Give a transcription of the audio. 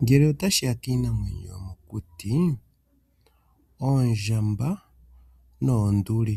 Ngele ota shiya kiinamwenyo yomokuti, oondjamba noonduli